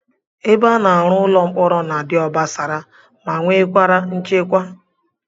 Ebe a na-arụ ụlọ mkpọrọ na-adị obosara ma nwekwara nchekwa